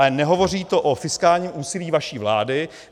Ale nehovoří to o fiskálním úsilí vaší vlády.